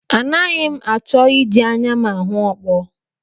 Anaghị m achọ iji anya m ahụ okpo